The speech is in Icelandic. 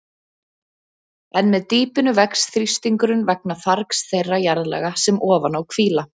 En með dýpinu vex þrýstingurinn vegna fargs þeirra jarðlaga sem ofan á hvíla.